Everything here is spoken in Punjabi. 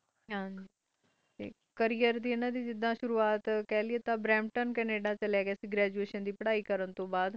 ਕਰਿਅਰ ਦੇ ਸੁਰਵਾਤ ਹਨ ਦੇ ਬੈਂਤੋਂ, ਕੈਨੇਡਾ ਚਲੇ ਗੇ ਸੇ ਗਰਦੁਸ਼ਨ ਤੋਂ ਬਾਦ